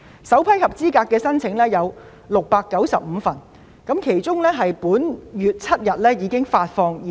首批合資格申請共695宗，我們已在本月7日向這些家庭發放現金。